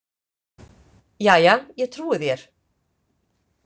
Jæja, ég trúi þér.